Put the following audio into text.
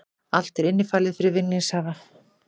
Allt er innifalið fyrir vinningshafana